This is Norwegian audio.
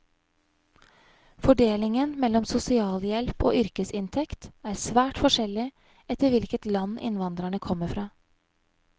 Fordelingen mellom sosialhjelp og yrkesinntekt er svært forskjellig etter hvilket land innvandrerne kommer fra.